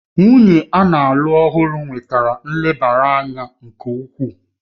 Nwunye a na-alụ ọhụrụ nwetara nlebara anya nke ukwuu